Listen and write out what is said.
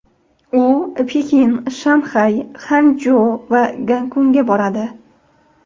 U Pekin, Shanxay, Xanchjo va Gonkongga boradi.